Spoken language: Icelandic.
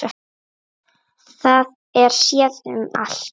Það er séð um allt.